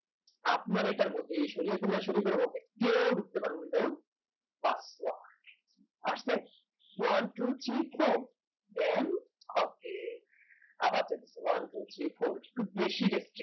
আপনার এটার মধ্যে আস্তে one two three four then আবার দেখ one two three four একটু বেশি দেখছি